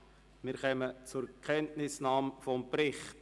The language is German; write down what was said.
Wir kommen zur Kenntnisnahme des Berichts.